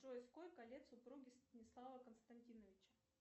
джой сколько лет супруге станислава константиновича